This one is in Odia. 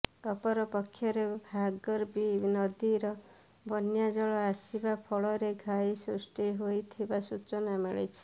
ଅପର ପକ୍ଷରେ ଭାର୍ଗବୀ ନଦୀରେ ବନ୍ୟା ଜଳ ଆସିବା ଫଳରେ ଘାଇ ସୃଷ୍ଟି ହୋଇଥିବା ସୂଚନା ମିଳିଛି